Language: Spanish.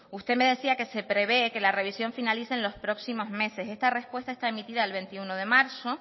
usted me decía que se prevé que la revisión finalice en los próximos meses esta respuesta está emitida el veintiuno de marzo